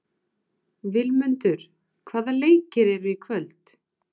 Vilmundur, hvaða leikir eru í kvöld?